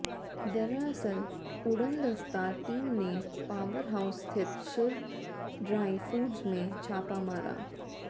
दरअसल उड़नदस्ता टीम ने पावर हाउस स्थित शिव ड्राई फूड्स में छापा मारा